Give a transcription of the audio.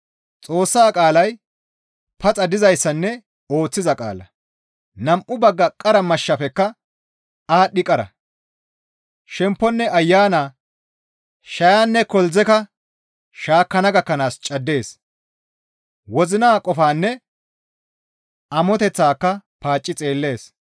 Xoossa qaalay paxa dizayssanne ooththiza qaala; nam7u bagga qara mashshafekka aadhdhi qara; shempponne ayana, shayanne koldzeka shaakkana gakkanaas caddees; wozina qofaanne amoteththaaka paacci xeellees.